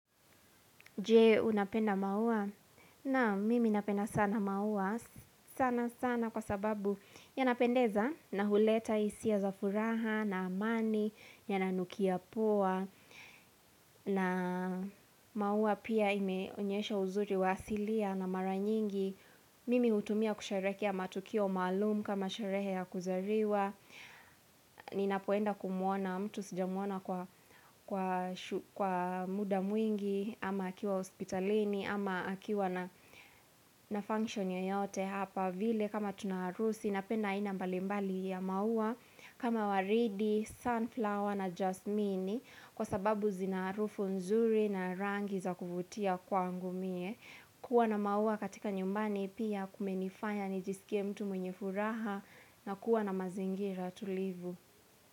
Je unapenda maua? Nam mimi napenda sana maua sana sana kwa sababu yanapendeza na huleta hisia za furaha na amani yananukia poa na maua pia ime onyesha uzuri wa asilia na mara nyingi. Mimi hutumia kusherekea matukio maalum kama sharehe ya kuzariwa Ninapoenda kumuona mtu sijamuona kwa kwa shu kwa muda mwingi ama akiwa hospitalini ama akiwa na function yoyote Hapa vile kama tuna harusi napenda aina mbalimbali ya maua kama waridi, sunflower na jasmini Kwa sababu zina harufu nzuri na rangi za kuvutia kwa angumie kuwa na maua katika nyumbani pia kumenifanya nijisikie mtu mwenye furaha na kuwa na mazingira tulivu.